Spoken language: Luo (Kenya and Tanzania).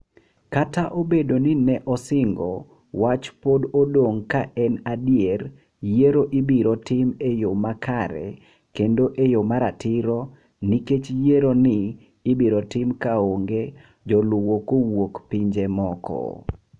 Kata obedo ni ne osingo, wach pod odong' ka en adier yiero ibiro tim e yo makare kendo e yo maratiro nikech yiero ni ibiro tim kaonge joluwo kowuok pinje moko.